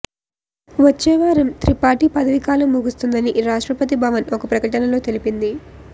వచ్చేవారం త్రిపాఠీ పదవీ కాలం ముగుస్తుందని రాష్ట్రపతి భవన్ ఒక ప్రకటనలో తెలిపింది